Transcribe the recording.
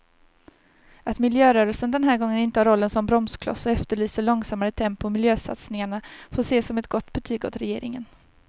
Att miljörörelsen den här gången intar rollen som bromskloss och efterlyser långsammare tempo i miljösatsningarna får ses som ett gott betyg åt regeringen.